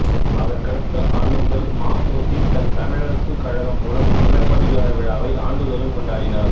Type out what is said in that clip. அதற்கடுத்த ஆண்டு முதல் ம பொ சி தன் தமிழரசு கழகம் மூலம் சிலப்பதிகார விழாவை ஆண்டுதோறும் கொண்டாடினர்